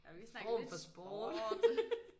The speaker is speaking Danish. Og vi har snakket lidt sport